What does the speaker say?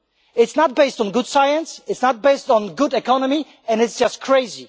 it is not based on good science, it is not based on good economy, and it is just crazy.